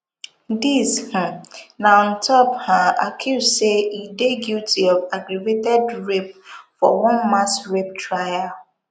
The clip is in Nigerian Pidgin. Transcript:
dis um na on top um accuse say e dey guilty of of aggravated rape for one mass rape trial